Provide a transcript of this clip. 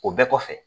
O bɛɛ kɔfɛ